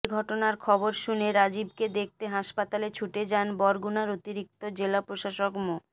এ ঘটনার খবর শুনে রাজিবকে দেখতে হাসপাতালে ছুটে যান বরগুনার অতিরিক্ত জেলা প্রশাসক মো